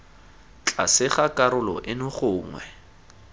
tlase ga karolo eno gongwe